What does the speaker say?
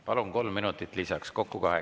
Palun, kolm minutit lisaks!